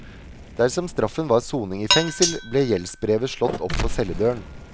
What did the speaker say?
Dersom straffen var soning i fengsel, ble gjeldsbrevet slått opp på celledøren.